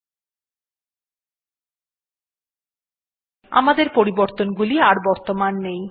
তাহলে দেখবেন যে আমাদের পরিবর্তনগুলো আর বর্তমান নেই